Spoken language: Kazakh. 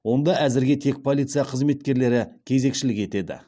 онда әзірге тек полиция қызметкерлері кезекшілік етеді